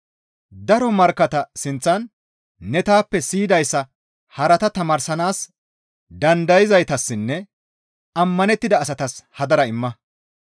Daro markkatta sinththan ne taappe siyidayssa harata tamaarsanaas dandayzaytassinne ammanettida asatas hadara imma.